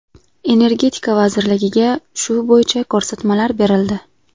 Energetika vazirligiga shu bo‘yicha ko‘rsatmalar berildi.